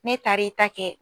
N'e taar'i ta kɛ